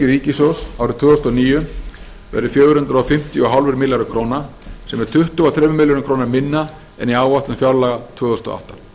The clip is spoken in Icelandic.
ríkissjóðs árið tvö þúsund og níu verði fjögur hundruð og fimmtíu komma fimm milljarðar króna sem er tuttugu og þremur milljörðum króna minna en í áætlun fjárlaga tvö þúsund og átta